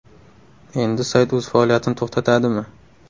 Endi sayt o‘z faoliyatini to‘xtatadimi?